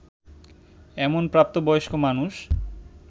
এমন প্রাপ্তবয়স্ক মানুষ